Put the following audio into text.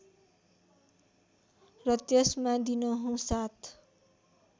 र त्यसमा दिनहुँ सात